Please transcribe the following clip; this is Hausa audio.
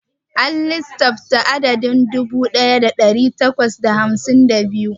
A lissafta adadin dubu ɗaya da ɗari takwas da hamsin da biyu.